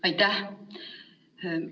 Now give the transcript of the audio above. Aitäh!